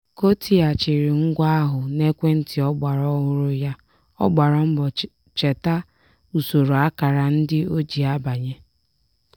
ka o tighachiri ngwa ahụ n'ekwentị ọgbara ọhụrụ ya ọ gbara mbọcheta usoro akara ndị o ji abanye.